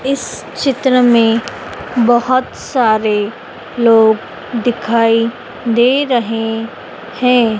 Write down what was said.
इस चित्र में बहोत सारे लोग दिखाई दे रहे हैं।